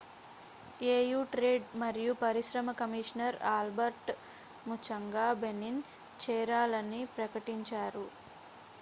AU trade మరియు పరిశ్రమ commissioner Albert Muchanga Benin చేరాలని ప్రకటించారు